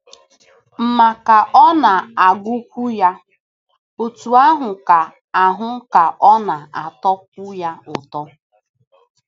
Ma, ka ọ na - agụkwu ya, otú ahụ ka ahụ ka ọ na - atọkwu ya ụtọ.